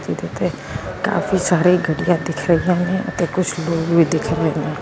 ਜਿੱਥੇ ਕਾਫੀ ਸਾਰੇ ਗੱਡੀਆਂ ਦਿਖ ਰਹੀਆਂ ਨੇ ਤੇ ਕੁਛ ਲੋਕ ਵੀ ਦਿਖ ਰਹੇ ਨੇ।